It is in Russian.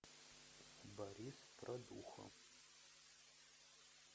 борис продухо